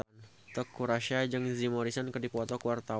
Teuku Rassya jeung Jim Morrison keur dipoto ku wartawan